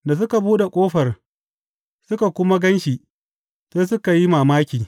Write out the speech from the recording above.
Da suka buɗe ƙofar suka kuma gan shi, sai suka yi mamaki.